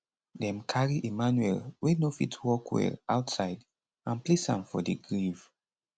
dem carry emmanuel wey no fit walk well outside and place am for di grave